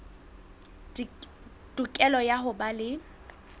tokelo ya ho ba le